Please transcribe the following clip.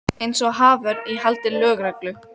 Alltaf er jafn ánægjulegt að hitta þig.